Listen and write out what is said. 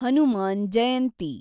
Hanuman Jayanti